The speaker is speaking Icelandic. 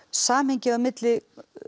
samhengið á milli